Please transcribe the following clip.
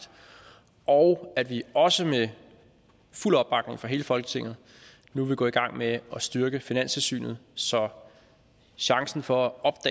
og at vi også med fuld opbakning fra hele folketinget nu vil gå i gang med at styrke finanstilsynet så chancen for